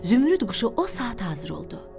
Zümrüd quşu o saat hazır oldu.